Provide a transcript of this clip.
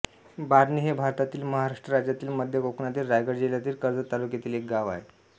बार्णे हे भारतातील महाराष्ट्र राज्यातील मध्य कोकणातील रायगड जिल्ह्यातील कर्जत तालुक्यातील एक गाव आहे